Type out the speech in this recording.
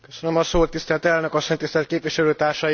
Tisztelt Elnök asszony! Tisztelt Képviselőtársaim!